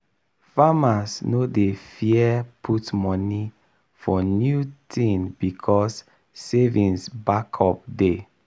farmers no dey fear put moni for new thing becos savings backup dey.